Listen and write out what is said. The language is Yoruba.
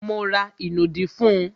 Mo ra ìnù dí fún un